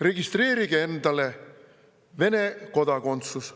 Registreerige ennast, et saada Vene kodakondsus.